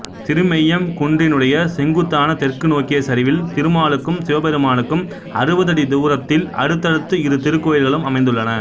திருமெய்யம் குன்றினுடைய செங்குத்தான தெற்கு நோக்கிய சரிவில் திருமாலுக்கும் சிவபெருமானுக்கும் அறுபதடி தூரத்தில் அடுத்தடுத்து இரு திருக்கோயில்களும் அமைந்துள்ளன